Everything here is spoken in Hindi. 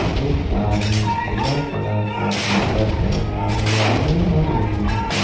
एक आदमी पीला कलर का टी शर्ट पहना हुआ है और लूंगी पे--